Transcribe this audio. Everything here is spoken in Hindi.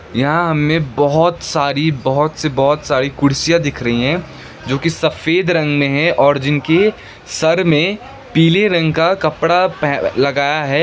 यहां हमे बहोत सारी बहोत सी बहोत सारी कुर्सियां दिख रही हैं जो की सफेद रंग में है और जिनके सर में पीले रंग का कपड़ा लगाया है।